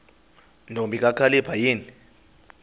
ntombi kakhalipha yini